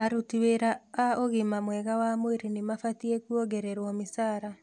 Aruti wĩra a ũgima mwega wa mwĩrĩ nĩmabatie kuongererwo mĩcara